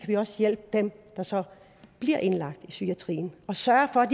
vi også hjælpe dem der så bliver indlagt i psykiatrien og sørge for at